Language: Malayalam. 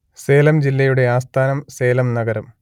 സേലം ജില്ലയുടെ ആസ്ഥാനം സേലം നഗരം